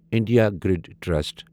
India grade trust